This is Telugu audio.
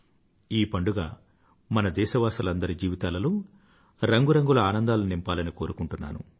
ఈ పండుగ మన దేశవాసులందరి జీవితాలలో రంగురంగుల ఆనందాలను నింపాలని కోరుకుంటున్నాను